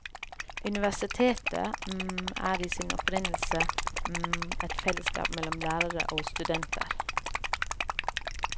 Universitetet er i sin opprinnelse et fellesskap mellom lærere og studenter.